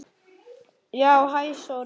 Já, hæ Sóri.